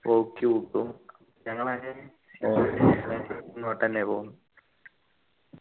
ഓക്കി ഞങ്ങളങ്ങനെ ഇങ്ങോട്ടന്നെ പോന്നു